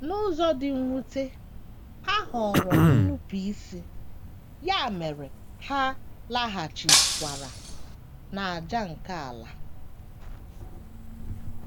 N’ụzọ dị mwute, ha họọrọ nnupụisi, ya mere ha laghachikwara ‘‘ n’ájá ’ nke ala.